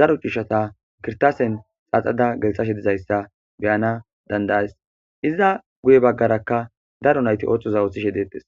daro cushata kirtasen xaaxada gelthashe dizayssa beyana dandayas iza guye baggarakka daro nayti oththoza othishe deetes.